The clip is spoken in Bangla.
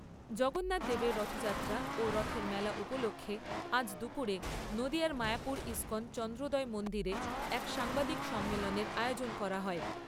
জগন্নাথদেবের রথযাত্রা ও রথের মেলা উপলক্ষে আজ দুপুরে নদীয়ার মায়াপুর ইস্কন চন্দ্রোদয় মন্দিরে এক সাংবাদিক সম্মেলনের আয়োজন করা হয়।